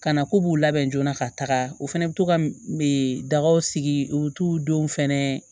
Ka na k'u b'u labɛn joona ka taga u fɛnɛ bi to ka dagaw sigi u t'u denw fɛnɛ